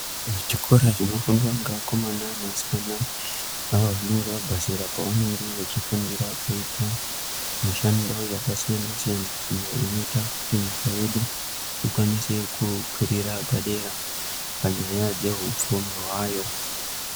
Chikora chinofundwa ngeakomana neasikana avo vanenge vabva zera pavanenge vechifundira kuita mishando yakasiyana-siyana, iyo inoita kuti nyika yedu ikwanise kukwirira padera panyaya dzehupfumi hwayo.